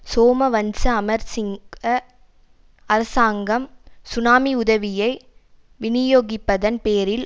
சோமவன்ச அமரசிங்க அரசாங்கம் சுனாமி உதவியை விநியோகிப்பதன் பேரில்